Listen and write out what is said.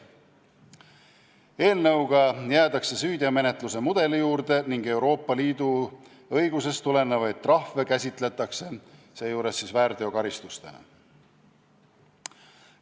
Eelnõuga jäädakse süüteomenetluse mudeli juurde ning Euroopa Liidu õigusest tulenevaid trahve käsitletakse seejuures väärteokaristustena.